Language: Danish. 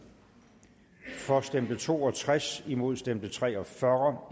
for stemte to og tres imod stemte tre og fyrre